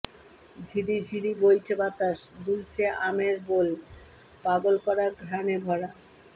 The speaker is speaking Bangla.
ঝিরিঝিরি বইছে বাতাস দুলছে আমের বোল পাগল করা ঘ্রাণে ভরা